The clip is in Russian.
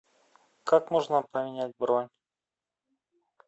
как можно поменять бронь